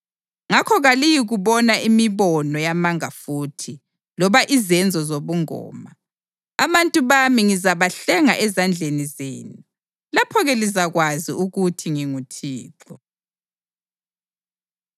ngakho kaliyikubona imibono yamanga futhi loba izenzo zobungoma. Abantu bami ngizabahlenga ezandleni zenu. Lapho-ke lizakwazi ukuthi nginguThixo.’ ”